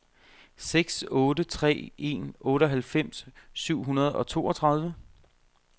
seks otte tre en otteoghalvfems syv hundrede og toogtredive